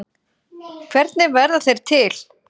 Hvernig verða þeir til?